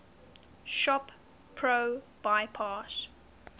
shop pro bypass